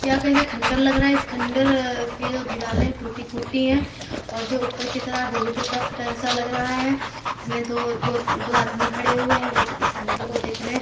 ये कही का खंडर लग रहा है। इस खंडर की जो दिवाले हैं टूटी-फूटी हैं और जो ऊपर की तरह है वो भी टूटा फूटा हिस्सा लग रहा है। इसमें दो दो दो आदमी खड़े हुए है। वो इस खंडर को देख रहे हैं।